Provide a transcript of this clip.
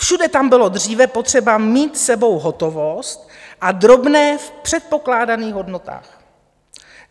Všude tam bylo dříve potřeba mít s sebou hotovost a drobné v předpokládaných hodnotách.